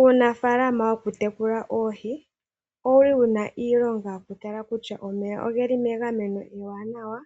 Uunafaalama woku tekula oohi owuli wuna iilonga yoku tala kutya omeya ogeli megameno ewanawa.